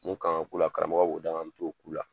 Mun ka ka k'u la karamɔgɔ b'o d'an ma an bɛ t'o k'u la